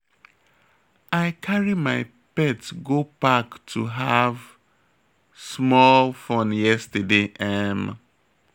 I carry my pet go park to have small fun yesterday um